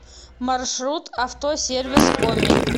маршрут авто сервис оми